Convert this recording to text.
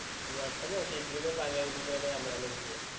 വെട്ടലും sheet എടുക്കലും പലടുപ്പിക്കലൊക്കെ നമ്മളന്നെയാ ചെയ്യാ